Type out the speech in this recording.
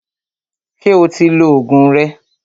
Ṣé o ti lo Ògùn rẹ?